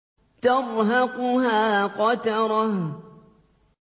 تَرْهَقُهَا قَتَرَةٌ